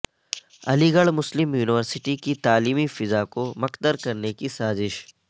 علی گڑھ مسلم یونیورسٹی کی تعلیمی فضا کو مکدر کرنے کی سازش